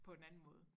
På en anden måde